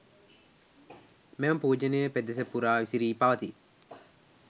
මෙම පූජනීය පෙදෙස පුරා විසිරී පවතියි.